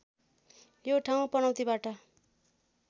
यो ठाउँ पनौतीबाट